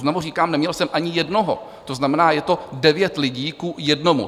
Znovu říkám, neměl jsem ani jednoho, to znamená, je to devět lidí ku jednomu.